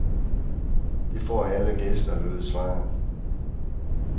Det får alle gæster, lød svaret.